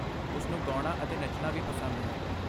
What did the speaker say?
ਉਸਨੂੰ ਗਾਉਣਾ ਅਤੇ ਨੱਚਣਾ ਵੀ ਪਸੰਦ ਹੈ।